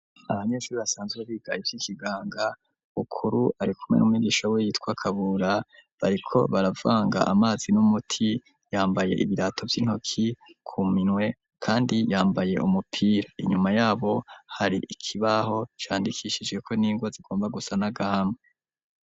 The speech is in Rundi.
Abanyeshuri basanzwe bigaye ivyo ikiganga ukuru arikume n'mumigisha we yitwa kabura bariko baravanga amazi n'umuti yambaye ibirato vy'intoki ku minwe, kandi yambaye umupira inyuma yabo hari ikibaho candikishijeko n'inga zigomba gusa nagama.